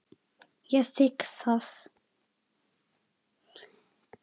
Ég þigg það.